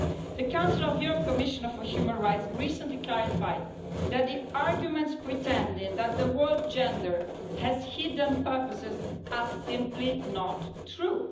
The Council of Europe Commissioner for Human Rights recently clarified that the arguments pretending that the word gender' has hidden purposes are simply not true.